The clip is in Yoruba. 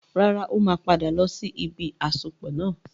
Rárá, ó máa padà lọ sí ibi àsopọ̀ náà.